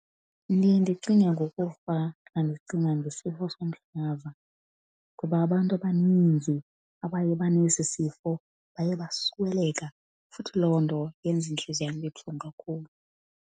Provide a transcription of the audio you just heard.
Ndiye ndicinge ngokufa xa ndicinga ngesifo somhlaza kuba abantu abaninzi abaye banesi sifo baye basweleka, futhi loo nto yenza intliziyo yam ibe buhlungu kakhulu.